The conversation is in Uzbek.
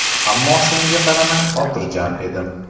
Ammo shunga qaramay xotirjam edim.